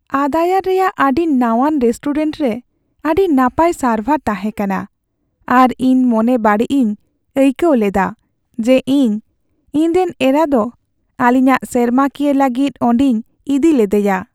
ᱟᱫᱟᱭᱟᱨ ᱨᱮᱭᱟᱜ ᱟᱹᱰᱤ ᱱᱟᱶᱟᱱ ᱨᱮᱥᱴᱩᱨᱮᱱᱴ ᱨᱮ ᱟᱹᱰᱤ ᱱᱟᱯᱟᱭ ᱥᱟᱨᱵᱷᱟᱨ ᱛᱟᱦᱮᱸ ᱠᱟᱱᱟ ᱟᱨ ᱤᱧ ᱢᱚᱱᱮ ᱵᱟᱲᱤᱡ ᱤᱧ ᱟᱹᱭᱠᱟᱹᱣ ᱞᱮᱫᱟ ᱡᱮ ᱤᱧ ᱤᱧᱨᱮᱱ ᱮᱨᱟ ᱫᱚ ᱟᱹᱞᱤᱧᱟᱜ ᱥᱮᱨᱢᱟᱠᱤᱭᱟᱹ ᱞᱟᱹᱜᱤᱫ ᱚᱸᱰᱮᱧ ᱤᱫᱤ ᱞᱮᱫᱮᱭᱟ ᱾